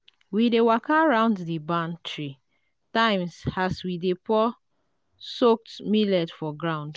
we dey waka round the barn three times as we dey pour soaked millet for ground.